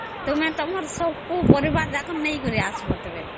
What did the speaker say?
ତମର ସବୁ ପରିବାର ନେଇକି ଆସିବା